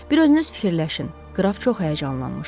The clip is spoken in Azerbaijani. Bir özünüz düşünün, qraf çox həyəcanlanmışdı.